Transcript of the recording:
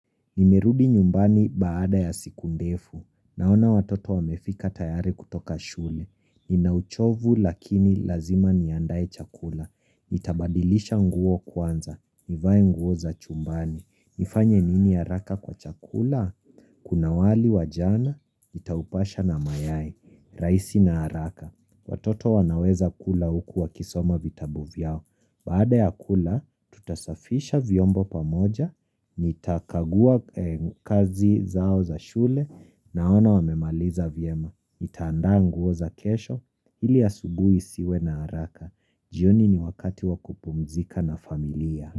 Nimerudi nyumbani baada ya siku ndefu. Naona watoto wamefika tayari kutoka shule. Ninauchovu lakini lazima niandae chakula. Nitabadilisha nguo kwanza. Nivae nguo za chumbani. Nifanye nini haraka kwa chakula? Kuna wali wajana, nitaupasha na mayai. Raisi na haraka. Watoto wanaweza kula huku wa kisoma vitabu vyao. Baada ya kula, tutasafisha vyombo pamoja, nitakagua kazi zao za shule, naona wamemaliza vyema. Nitaandaa nguo za kesho, ili asubuhi isiwe na haraka. Jioni ni wakati wakupumzika na familia.